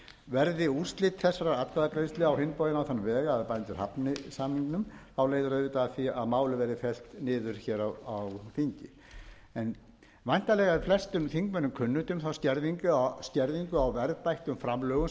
verði úrslit þessarar atkvæðagreiðslu á hinn bóginn á þann veg að bændur hafni samningnum þá leiðir auðvitað af því að málið verður fellt niður hér þingi væntanlega er flestum þingmönnum kunnugt um þá skerðingu á verðbættum framlögum